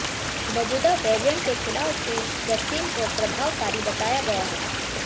मौजूदा वैरिएंट के खिलाफ भी वैक्सीन को प्रभावकारी बताया गया है